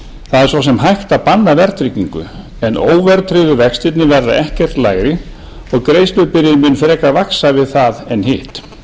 það er svo sem hægt að banna verðtryggingu en óverðtryggðu vextirnir verða ekkert lægri og greiðslubyrðin mun frekar vaxa við það en hitt